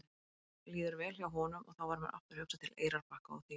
Mér líður vel hjá honum og þá varð mér aftur hugsað til Eyrarbakka og þín.